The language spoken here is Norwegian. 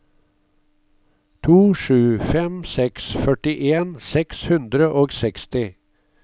to sju fem seks førtien seks hundre og seksti